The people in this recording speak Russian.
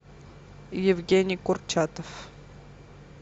евгений курчатов